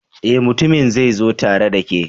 Eh, mutumin zai zo tare da ke